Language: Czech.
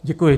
Děkuji.